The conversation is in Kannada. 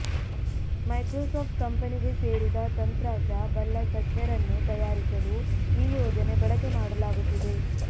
ಮೈಕ್ರೋಸಾಫ್ಟ್ ಕಂಪೆನಿಗೆ ಸೇರಿದ ತಂತ್ರಾಶ ಬಲ್ಲ ತಜ್ಞರನ್ನು ತಯಾರಿಸಲು ಈ ಯೋಜನೆ ಬಳಕೆ ಮಾಡಲಾಗುತ್ತಿದೆ